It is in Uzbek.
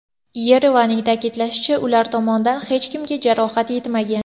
Yerevanning ta’kidlashicha, ular tomondan hech kimga jarohat yetmagan.